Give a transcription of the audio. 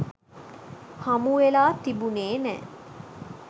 හමුවෙලා තිබුනේ නෑ.